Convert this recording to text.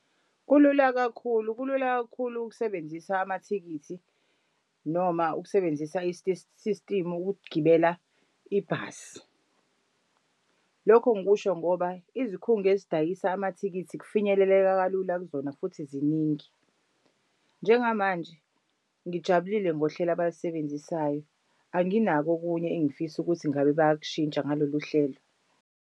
Kulula kakhulu kulula kakhulu ukusebenzisa amathikithi noma ukusebenzisa system ukugibela ibhasi. Lokho ngikusho ngoba izikhungo ezidayisa amathikithi kufinyeleleka kalula kuzona futhi ziningi. Njengamanje ngijabulile ngohlelo abalisebenzisayo, anginako okunye engifisa ukuthi ngabe bayakushintsha ngalolu hlelo.